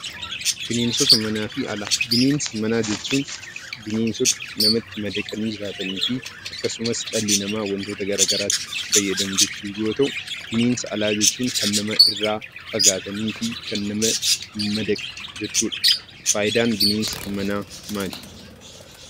Bineensoota manafi alaa; bineensa manaa jechuun bineensoota namatti madaqaani jiraatannifi akkasumas, dhalli nama wantoota garagaraattif itti faayyadamuu jechuu yoo ta'u, bineensa Alaa jechuun, Kan nama irraa fagaatanifi Kan namatti hin madaqnee jechuudha. Faayidaan bineensa manaa maali?